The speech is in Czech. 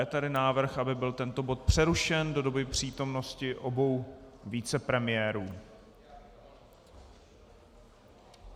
Je tady návrh, aby byl tento bod přerušen do doby přítomnosti obou vicepremiérů.